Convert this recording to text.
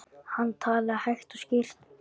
Hann talaði hægt og skýrt.